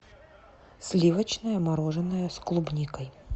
сливочное мороженое с клубникой